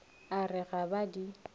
a re ga ba di